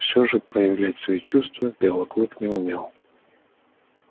всё же проявлять свои чувства белый клык не умел